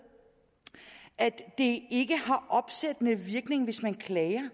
at det ikke har opsættende virkning hvis man klager